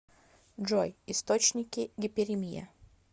джой источники гиперемия